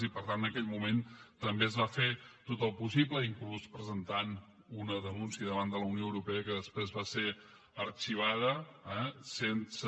i per tant en aquell moment també es va fer tot el possible inclús presentant una denúncia davant de la unió europea que després va ser arxivada eh sense